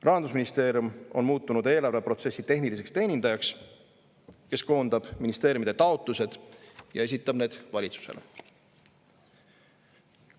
Rahandusministeerium on muutunud eelarveprotsessi tehniliseks teenindajaks, kes koondab ministeeriumide taotlused ja esitab need valitsusele.